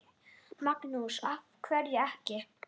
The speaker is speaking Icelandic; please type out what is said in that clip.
Magnús: Af hverju ekki?